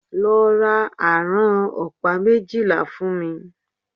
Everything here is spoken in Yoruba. Lọ ra àrán ọ̀pá méjìlá fún mí!